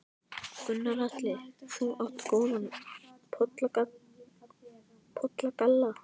Gunnar Atli: Þú átt góðan pollagalla?